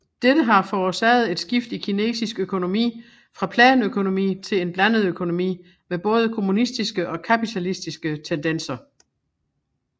Dette har forårsaget et skift i kinesisk økonomi fra planøkonomi til en blandet økonomi med både kommunistiske og kapitalistiske tendenser